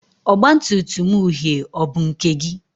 ọgbatumtum uhie ọ bụ nke gị?